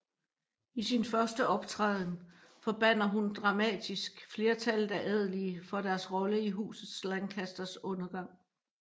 I sin første optræden forbander hun dramatisk flertallet af adelige for deres rolle i Huset Lancasters undergang